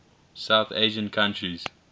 south asian countries